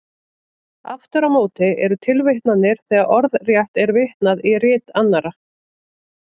Aftur á móti eru tilvitnanir þegar orðrétt er vitnað í rit annarra.